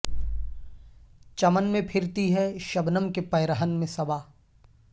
چمن میں پھرتی ہے شبنم کے پیرہن میں صبا